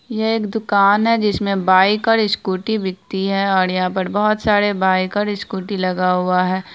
यह एक दुकान है जिसमे बाइक और स्कूटी बिकती है और यहां पर बहुत सारी बाइक और स्कूटी लगा हुआ है।